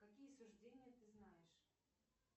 какие суждения ты знаешь